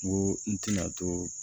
N ko n tɛna to